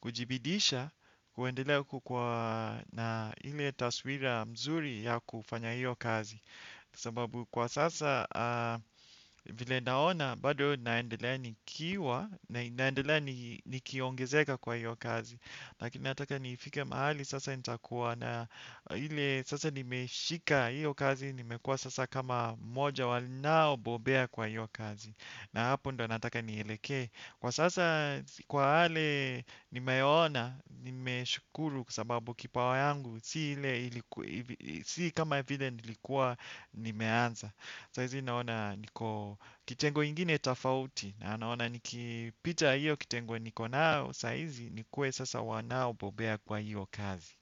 kujibidiisha kuendelea kukuwa na ile taswira mzuri ya kufanya hiyo kazi. Kwa sasa vile naona bado naendelea nikiwa naendelea nikiongezeka kwa hiyo kazi. Lakini nataka nifike mahali sasa nitakuwa na ile sasa nimeshika hiyo kazi. Nimekuwa sasa kama mmoja wanaobobea kwa hiyo kazi. Na hapo ndio nataka nielekee. Kwa sasa kwa hali nimeona nimeshukuru sababu kipawa yangu. Si kama vile nilikuwa nimeanza. Sahizi naona niko kitengo ingine tofauti. Na naona nikipita hiyo kitengo niko nao. Sahizi nikuwe sasa wanaobobea kwa hiyo kazi.